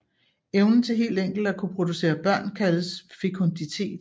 Evnen til helt enkelt at kunne producere børn kaldes fekunditet